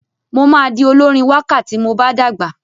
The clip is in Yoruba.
Mo máa di olórin wákà tí mo bá dàgbà.